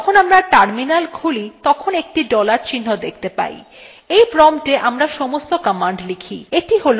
যখন আমরা terminal খুলি তখন একটি dollar চিহ্ন দেখতে পাই when promptwe আমরা সমস্ত commands লিখি